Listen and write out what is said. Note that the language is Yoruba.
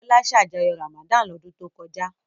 Bọ́lá ṣàjọyọ̀ Ramadan lọ́dún tó kọjá?